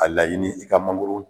A laɲini i ka mangoro